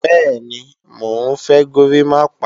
Bẹ́ẹ̀ni, mò ń fẹ́ górimápá